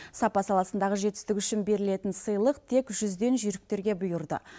сапа саласындағы жетістігі үшін берілетін сыйлық тек жүзден жүйріктерге бұйырды